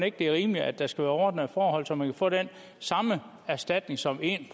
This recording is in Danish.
ikke det er rimeligt at der skal være ordnede forhold så man kan få den samme erstatning som en